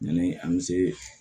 Yanni an bɛ se